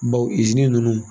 Bawo ninnu.